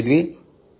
ಭೇಟಿಯಾಗುತ್ತಿರಲಿಲ್ಲ